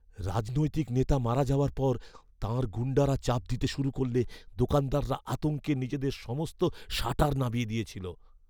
রাজনৈতিক নেতা মারা যাওয়ার পর তাঁর গুণ্ডারা চাপ দিতে শুরু করলে দোকানদাররা আতঙ্কে নিজেদের সমস্ত শাটার নামিয়ে দিয়েছিল।